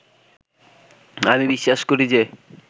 আমি বিশ্বাস করি যে